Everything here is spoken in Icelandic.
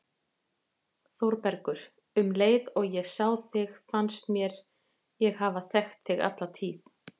ÞÓRBERGUR: Um leið og ég sá þig fannst mér ég hafa þekkt þig alla tíð.